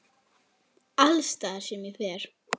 Alls staðar sem ég fer.